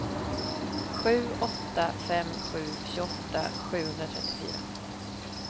sju åtta fem sju tjugoåtta sjuhundratrettiofyra